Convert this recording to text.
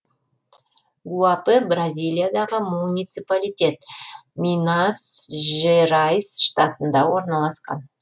гуапе бразилиядағы муниципалитет минас жерайс штатында орналасқан